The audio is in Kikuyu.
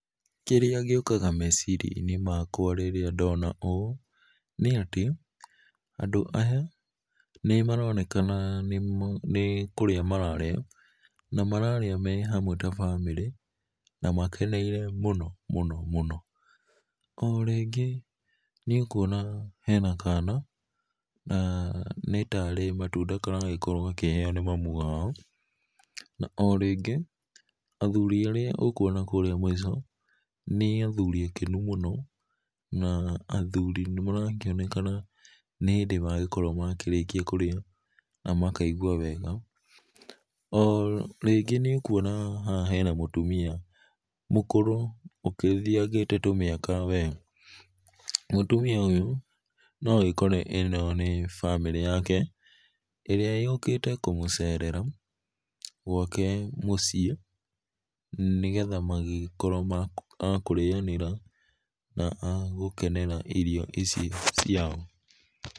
Kĩrĩa gĩũkaga meciria inĩ makwa rĩrĩa ndona ũũ nĩ atĩ andũ aya nĩmaronekana nĩ kũrĩa mararĩa na mararĩa me hamwe ta bamĩrĩ na makeneire mũno mũno mũno. O rĩngĩ nĩ ũkũona hena kana na nĩ tarĩ matũnda karagĩkorwo gakĩheo nĩ mamũ wao na o rĩngĩ athũri arĩa ũkona kũrĩa mwĩco, nĩ athũri akenũ mũno na athũri marakĩonekana nĩ hĩndĩ magĩkorwo makĩrĩkĩa kũrĩa na makaigũa wega. O rĩngĩ nĩũkũona haha hena mũtũmia mũkũrũ ũkĩthĩagĩte tũmĩaka we. Mũtũmia ũyũ no ũkore ĩno nĩ bamĩrĩ yake ĩrĩa yũkĩte kũmũcerera gwake mũciĩ nĩgetha magĩkorwo a kũrĩanĩra na agũkenera irio icio ciao.